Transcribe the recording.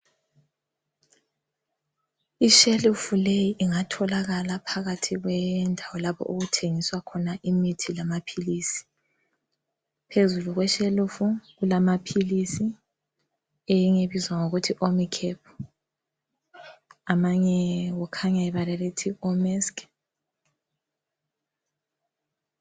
Ishelufu leyi ingatholakala phakathi kwendawo lapho okuthengiswa khona imithi lamaphilisi. Phezulu kweshelufu kulamaphilisi, eyinye ibizwa ngokuthi omicap amanye kukhanya ibala elithi omesk.